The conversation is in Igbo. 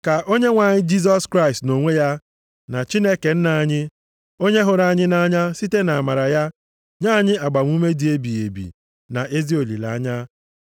Ka Onyenwe anyị Jisọs Kraịst nʼonwe ya, na Chineke Nna anyị, onye hụrụ anyị nʼanya, site nʼamara ya nye anyị agbamume dị ebighị ebi na ezi olileanya,